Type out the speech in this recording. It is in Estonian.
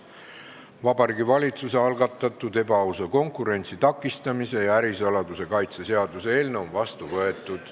Vabariigi Valitsuse algatatud ebaausa konkurentsi takistamise ja ärisaladuse kaitse seadus on vastu võetud.